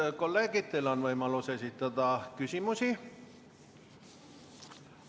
Head kolleegid, teil on võimalus esitada küsimusi.